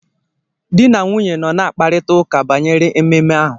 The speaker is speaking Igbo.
di na nwunye nọ na-akparịta ụka banyere ememe ahụ